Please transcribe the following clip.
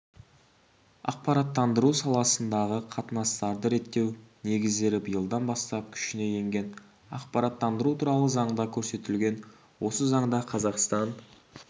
ақпараттандыру саласындағы қатынастарды реттеу негіздері биылдан бастап күшіне енген ақпараттандыру туралы заңда көрсетілген осы заңда қазақстан